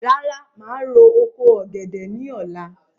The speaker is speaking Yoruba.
Rárá, màá ro oko ọ̀gẹ̀dẹ̀ ní ọ̀la